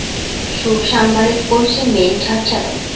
Shu shanbalik bo‘yicha men charchadim.